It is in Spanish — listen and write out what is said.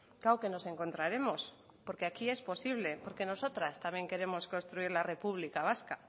claro que nos encontraremos porque aquí es posible porque nosotras también queremos construir la república vasca